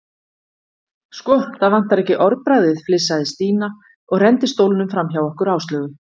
Sko, það vantar ekki orðbragðið flissaði Stína og renndi stólnum framhjá okkur Áslaugu.